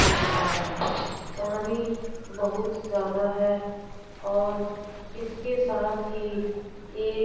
बेला है पानी बहुत ज्यादा है और इसके साथ ही एक--